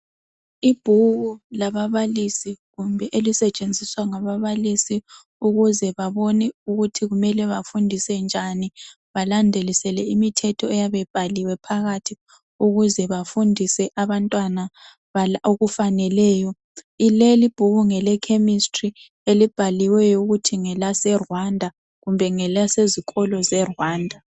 Ibhuku lababalisi kumbe elisetshenziswa ngababalisi ukuze babone ukuthi kumele bafundise njani balandelisele imithetho eyabe ibhaliwe phakathi ukuze bafundise abantwana okufaneleyo leli ibhuku ngelechemistry elibhaliweyo ukuthi ngelaseRwanda kumbe ngelasesikolo zeRwanda.